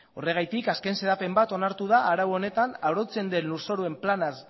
horregatik azken xedapen bat onartu da arau honetan arautzen den lurzoruen planaz